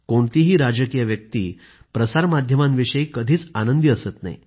कोणतीही राजकीय व्यक्ती प्रसार माध्यमांविषयी कधीच आनंदी असत नाही